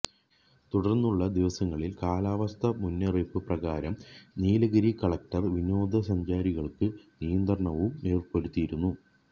തുടര്ന്നുള്ള ദിവസങ്ങളില് കാലാവസ്ഥാ മുന്നറിയിപ്പ് പ്രകാരം നീലഗിരി കലക്ടര് വിനോദസഞ്ചാരികള്ക്ക് നിയന്ത്രണവും ഏര്പ്പെടുത്തിയിരുന്നു